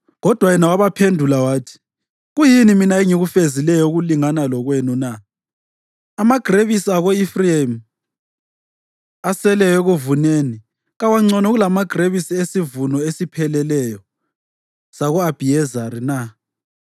Kodwa yena wabaphendula wathi, “Kuyini mina engikufezileyo okulingana lokwenu na? Amagrebisi ako-Efrayimi aseleyo ekuvuneni kawangcono kulamagrebisi esivuno esipheleleyo sako-Abhiyezeri na?